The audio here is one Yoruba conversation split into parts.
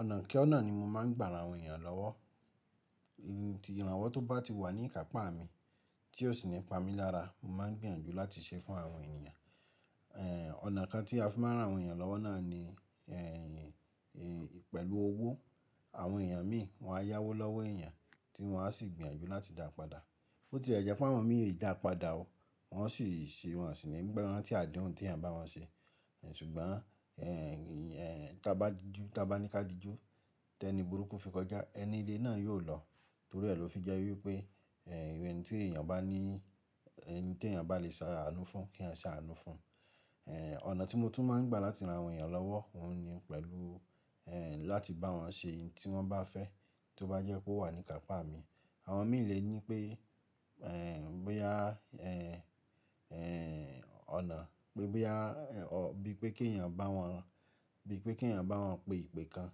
Ọ̀nà kona ni mo máa ń gbà ran àwọn ènìyàn lọ́wọ́. Ìrànwọ́ tó bá ti wà ní ìkápá mi tí ó sì nípa mi lára, mo máa gbìyànjú láti ṣe fún àwọn ènìyàn. Ọ̀nà kan tí a fi máa rán àwọn ènìyàn lọ́wọ́ náà ni pẹ̀lú owó. Àwọn ènìyàn míì wọ́n á yáwó lọ́wọ́ ènìyàn tí wọ́n á sì gbìyànjú láti dáa padà. Bó tie jẹ́ pé àwọn mìí ee dá padà ó, wọ́n sì ṣe wọ́n sì ní ranti adeùn tí a bá wọn ṣe. Ṣùgbọ́n tá bá tá bá ní ká di jú tẹ́ni burúkú fi kọjá, ẹni iré náà yóò lọ torí ẹ ló fi jẹ́ wípé ohun tí èèyàn bá ní, ẹni tí èèyàn bá lè ṣe àánú fún kí eeyan ṣe àánú fún. Ọ̀nà tí mo tún máa ń gbà láti rán àwọn ènìyàn lọ́wọ́ òun ni pẹ̀lú láti bá wọn ṣe ohun tí wọ́n bá fẹ́ tó bá jẹ́ pé ó wà ní ìkápá mi. Àwọn mìí lè ní pé bóyá ọ̀nà pé bóyá bíi pé kí èèyàn bá wọn, bíi pé kí èèyàn bá wọn pe ìpè kan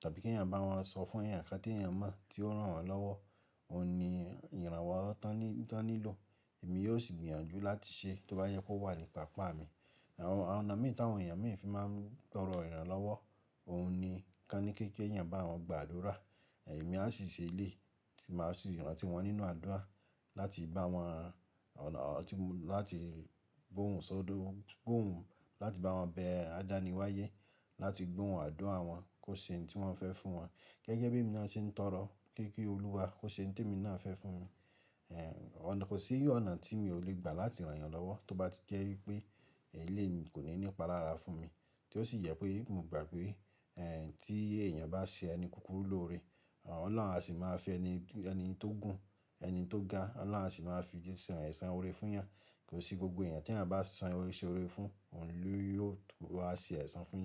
tàbí kí èèyàn bá wọn sọ fún èèyàn kan tí èèyàn mọ̀ tí ó rán wọn lọ́wọ́. Ohun ni ìrànwọ́ tó ní, tó nílò èmi yóò sì gbìyànjú láti ṣe tó bá jẹ pó wà ní ìkápá mi. Àwọn ọnà mìíràn tí àwọn ènìyàn mìíràn fi máa ń tọrọ ìrànlọ́wọ́ òun ni kí ó ní kí èèyàn bá wọn gbà àdúrà, èmi á sì ṣe elé ti màá sì rántí wọn nínú àdúrà láti bá wọn láti gbohùn sódò, gbohùn láti bá wọn bẹ àdáni wáyé, láti gbóhùn àdúrà wọn kó ṣe ohun tí wọ́n fẹ́ fún wọn. Gege bí èmi náà ṣe ń tọrọ pé kí Olúwa kó ṣe ohun tí èmi náà fẹ́ fún mi. Kò sí ọ̀nà tí mi ò lè gbà láti rán èèyàn lọ́wọ́ tó bá ti jẹ́ wípé eleyìí kò ní nípa lára fún mi tí ó sì jẹ pé mo gbà pé tí èèyàn bá ṣe ẹni kúkúrú lóore Ọlọ́run á sì máa fi ẹni, ẹni tó gùn, ẹni tó ga Ọlọ́run á sì máa fi ṣe esàn oore fún yan. Kò sí gbogbo èèyàn tí èèyàn bá san, ṣe ore fún òun ló yóò tó wáa ṣe àìsàn fún yẹn.